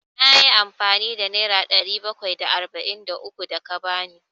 Na yi amfani da nera ɗari bakwai da arba'in da uku da ka ba ni.